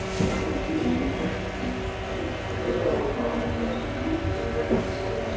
En þá ýtir hún mér frá sér.